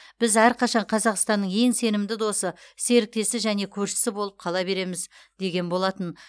біз әрқашан қазақстанның ең сенімді досы серіктесі және көршісі болып қала береміз деген болатын